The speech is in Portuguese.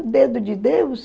O dedo de Deus?